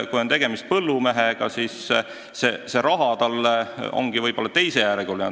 Kui tegemist on põllumehega, siis saadav raha on talle võib-olla teisejärguline.